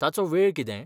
ताचो वेळ कितें?